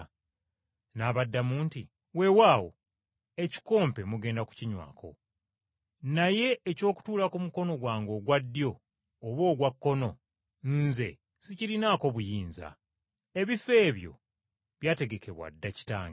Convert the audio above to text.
N’abagamba nti, “Weewaawo ekikompe mugenda kukinywako. Naye eky’okutuula ku mukono gwange ogwa ddyo oba ogwa kkono nze sikirinaako buyinza. Ebifo ebyo byategekebwa dda Kitange.”